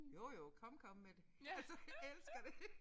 Jo jo kom kom med det altså elsker det